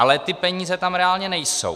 Ale ty peníze tam reálně nejsou.